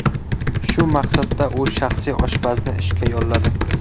Shu maqsadda u shaxsiy oshpazni ishga yolladi .